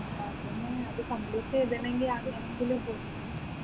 അതെന്നെ അത് complete ചെയ്തിനെങ്ങിൽ ഏതെങ്കിലും ഉണ്ട്